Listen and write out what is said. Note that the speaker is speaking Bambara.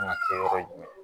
Kan ka kɛ yɔrɔ jumɛn ye